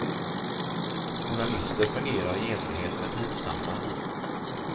Journalister fungerar i enlighet med tidsandan.